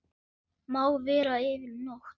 Má vera yfir nótt.